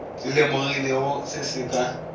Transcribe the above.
di lemogilego se se ka